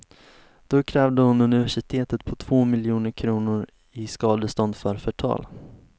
Då krävde hon universitetet på två miljoner kronor i skadestånd för förtal.